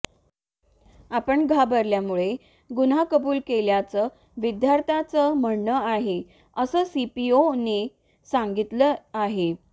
आपण घाबरल्यामुळे गुन्हा कबूल केल्याचं विद्यार्थ्याचं म्हणणं आहे असं सीपीओने सांगितलं आहे